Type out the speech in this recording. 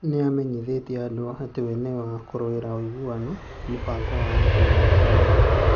Nĩ amenyithĩtie andũ atĩ we nĩ wa kũrũĩrĩra ũiguano, mũbango wa andũ na ũrũmwe.